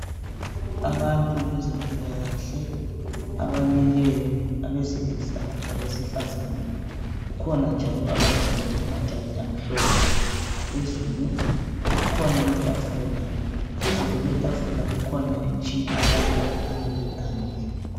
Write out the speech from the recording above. Abantu bezempilakahle abamileyo abaseilisa labesifazana . Kukhona njalo abagqoke amajazi amhlophe phezulu. Kukhona itafula, phezu kwetafula kukhona imitshina abakhanya beyikhangele.